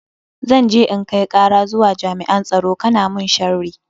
Zan je in kai kara zuwa jami'an tsaro kana mun sharri.